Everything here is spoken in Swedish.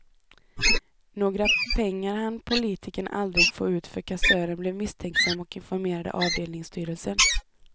Några pengar hann politikern aldrig få ut för kassören blev misstänksam och informerade avdelningsstyrelsen.